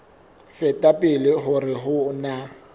feta pele hore ho na